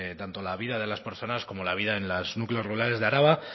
tanto la vida de las personas como la vida en los núcleos rurales de araba